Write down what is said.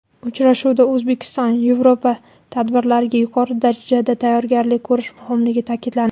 Uchrashuvda O‘zbekistonYevropa tadbirlariga yuqori darajada tayyorgarlik ko‘rish muhimligi ta’kidlandi.